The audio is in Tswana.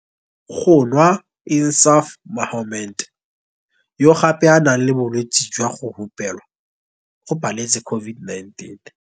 Go nwa Insaaf Mohammed, yo gape a nang le bolwetse jwa go hupelwa, o paletse COVID-19.